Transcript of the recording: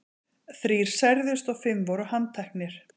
Þrír særðust og fimm voru handteknir.